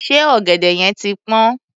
Ṣé ọ̀gẹ̀dẹ̀ yẹn ti pọ́n?